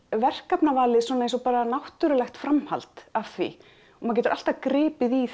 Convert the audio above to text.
verkefnavalið eins og bara náttúrulegt framhald af því og maður getur alltaf gripið í